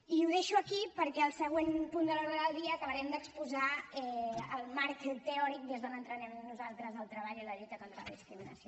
i ho deixo aquí perquè al següent punt de l’ordre del dia acabarem d’exposar el marc teòric des d’on entenem nosaltres el treball i la lluita contra la discriminació